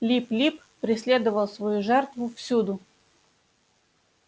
лип лип преследовал свою жертву всюду